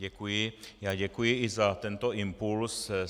Děkuji a děkuji i za tento impuls.